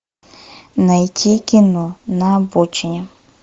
найти кино на обочине